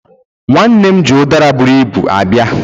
Nwannem ji udara buru Ibu abia